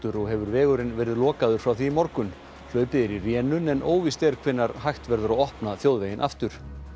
og hefur vegurinn verið lokaður frá því í morgun hlaupið er í rénun en óvíst er hvenær hægt verður að opna þjóðveginn aftur